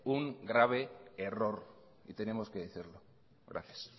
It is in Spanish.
un grave error y tenemos que decirlo gracias